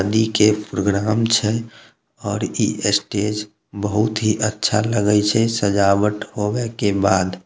शादी के प्रोग्राम छे और इ स्टेज बहुत ही अच्छा लगयी छे सजावट होवे के बाद।